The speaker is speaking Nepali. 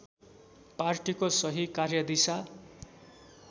पार्टीको सही कार्यदिशा